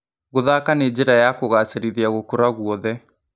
Gũthaka nĩnjĩra ya kũgacĩrithia gũkũra guothe.